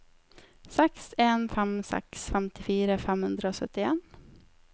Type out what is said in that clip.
seks en fem seks femtifire fem hundre og syttien